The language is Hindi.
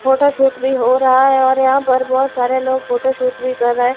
फोटोशूट भी हो रहा है और यहां पर बहोत सारे लोग फोटोशूट भी कर रहे--